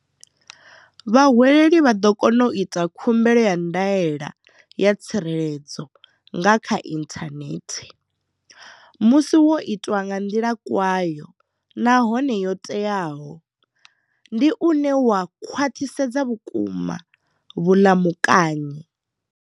Vhahweleli vha ḓo kona u ita khumbelo ya ndaela ya tsireledzo nga kha inthanethe. Musi wo itwa nga nḓila kwayo nahone yo teaho, ndi wone une wa khwaṱhisedza vhukuma vhuḽamukanyi.